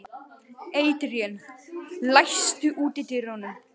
Adrian, læstu útidyrunum.